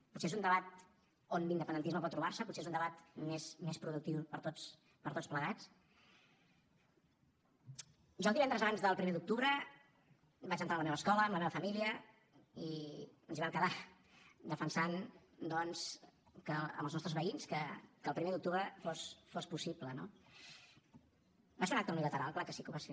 potser és un debat on l’independentisme pot trobar se potser és un debat més productiu per tots plegats jo el divendres abans del primer d’octubre vaig entrar a la meva escola amb la meva família i ens hi vam quedar defensant doncs amb els nostres veïns que el primer d’octubre fos possible no va ser un acte unilateral clar que sí que ho va ser